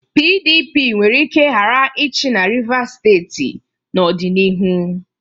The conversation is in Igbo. PDP nwere ike ghara ịchị na Rivas steeti n'ọdịnihu.